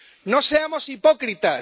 No seamos hipócritas.